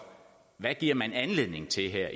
hvad giver man anledning til her